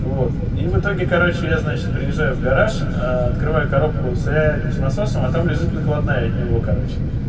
вот и в итоге короче я значит приезжаю в гараж открываю коробку с этим с насосом а там лежит накладная от него короче